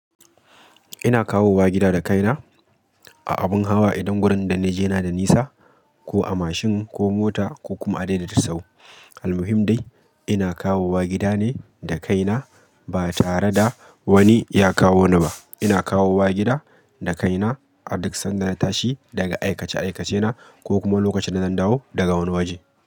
Ina kawo wa gida da kaina a abun hawa idan gurin da na je yana da nisa ko a mashin ko mota ko kuma a dai da dai sau. Almuhim dai ina kawowa gidane dakaina, ba tare da wani yakawo ni ba. Ina kawo wa gida da kaina a duk sanda na tashi daga aikace aikacena ko kuma lokacin da zan dawo daga wani waje.